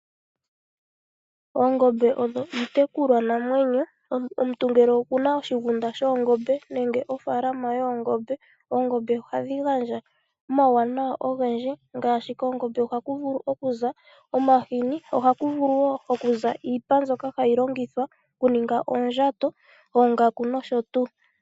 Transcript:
Oongombe odho iitekulwanamwenyo. Omuntu ngele okuna oshigunda shoongombe nenge ofaalama yoongombe oongombe ohadhi gandja omawunawa ogendji ngaashi koongombe ohaku vulu okuza omahini, ohaku vulu okuza wo iipa mbyoka hayi longithwa okuninga oondjato, oongaku nosho tuu.